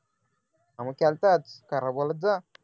हा मग केला होतास खरं बोलत जा